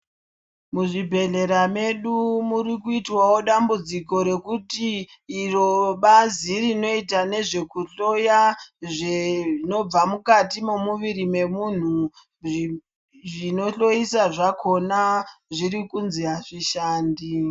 Muzvibhendlera mwedu muri kuita dambudziko rekuti iro bazi rinoita ngezvekuhloya zvinobva mukati mwemumuviri wemunhu. Zvinohloisa zvakona zviri kunzi zvishandi.